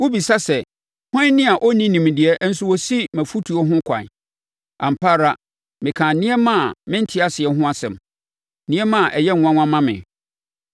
Wobisa sɛ, ‘Hwan ni a ɔnni nimdeɛ nso ɔsi mʼafotuo ho ɛkwan?’ Ampa ara mekaa nneɛma a mente aseɛ ho nsɛm, nneɛma a ɛyɛ nwanwa ma me.